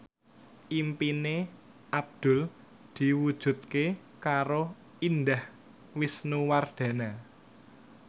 impine Abdul diwujudke karo Indah Wisnuwardana